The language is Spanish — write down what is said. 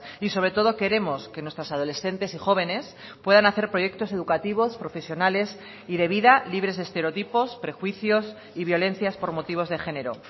y sobre todo queremos que nuestras adolescentes y jóvenes puedan hacer proyectos educativos profesionales y de vida libres de estereotipos prejuicios y violencias por motivos de género